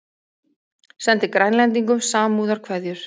Sendi Grænlendingum samúðarkveðjur